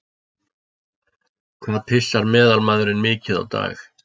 Hvað pissar meðalmaðurinn mikið á dag?